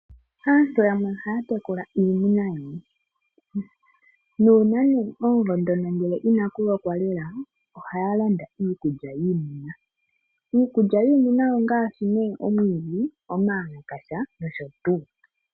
Aantu yamwe ohaya tekula iimuna ngaashi oongombe, nuuna omvula inayi loka nawa ohaya landa iikulya yiimuna, iikulya yiimuna ongaashi ne omwiidhi, omawalakasha nosho tuu.